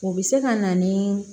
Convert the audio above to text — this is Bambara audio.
O bɛ se ka na ni